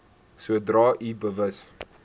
sodra u bewus